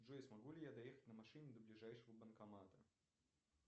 джой смогу ли я доехать на машине до ближайшего банкомата